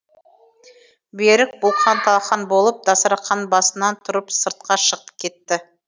берік бұлқан талқан болып дастарқанбасынан тұрып сыртқа шығып кетті